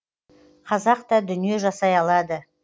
қазақ та дүние жасай алады